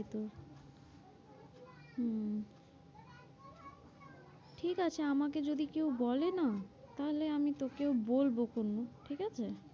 হম ঠিক আছে আমাকে যদি কেউ বলে না তাহলে আমি তোকে ও বলব, ঠিক আছে।